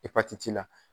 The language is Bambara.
Epatiti la